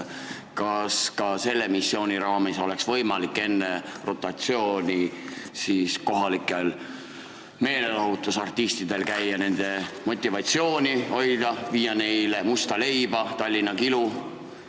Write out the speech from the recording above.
Kas ka selle missiooni raames oleks võimalik siinsetel meelelahutusartistidel käia nende motivatsiooni hoidmas, viia neile musta leiba ja Tallinna kilu?